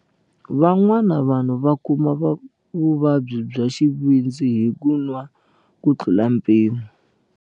Van'wana vanhu va kuma vuvabyi bya xivindzi hi ku nwa kutlula mpimo.